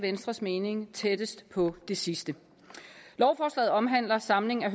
venstres mening tættest på det sidste lovforslaget omhandler samling af